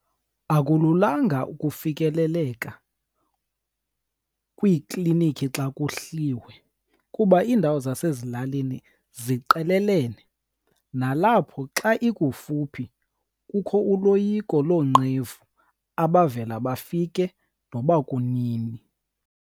Akululanga ukufikeleleka kwiiklinikhi xa kuhliwe kuba iindawo zasezilalini ziqelelene. Nalapho xa ikufuphi kukho uloyiko loonqevu abavela bafike noba kunini.